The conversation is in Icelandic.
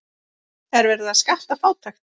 Er verið að skatta fátækt?